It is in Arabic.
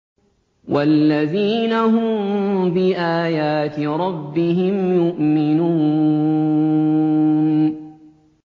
وَالَّذِينَ هُم بِآيَاتِ رَبِّهِمْ يُؤْمِنُونَ